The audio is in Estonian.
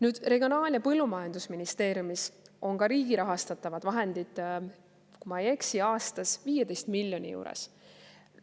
Nüüd, Regionaal‑ ja Põllumajandusministeeriumis on ka riigi rahastatavad vahendid, kui ma ei eksi, aastas 15 miljoni juures.